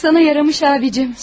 Yatmaq sənə yaraşıb, abicim.